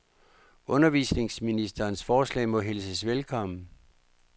Undervisningsministerens forslag må hilses velkommen.